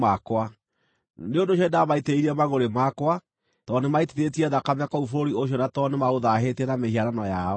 Nĩ ũndũ ũcio nĩndamaitĩrĩirie mangʼũrĩ makwa, tondũ nĩmaitithĩtie thakame kũu bũrũri ũcio na tondũ nĩmaũthaahĩtie na mĩhianano yao.